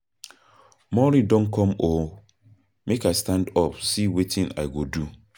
Morning don come oo, make I stand up see wetin I go do.